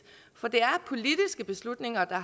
for det er politiske beslutninger der